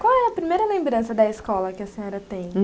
Qual é a primeira lembrança da escola que a senhora tem?